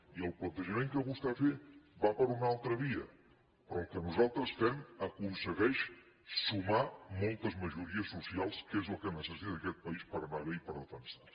i el plantejament que vostè ha fet va per una altra via però el que nosaltres fem aconsegueix sumar moltes majories socials que és el que necessita aquest país per anar bé i per defensar se